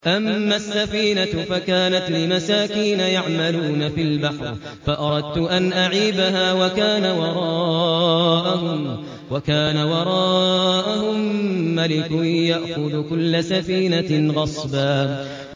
أَمَّا السَّفِينَةُ فَكَانَتْ لِمَسَاكِينَ يَعْمَلُونَ فِي الْبَحْرِ فَأَرَدتُّ أَنْ أَعِيبَهَا وَكَانَ وَرَاءَهُم مَّلِكٌ يَأْخُذُ كُلَّ سَفِينَةٍ غَصْبًا